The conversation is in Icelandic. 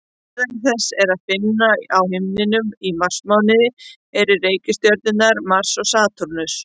Meðal þess sem er að finna á himninum í marsmánuði eru reikistjörnurnar Mars og Satúrnus.